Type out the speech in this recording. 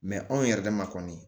anw yɛrɛ dama kɔni